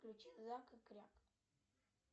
включи зак и кряк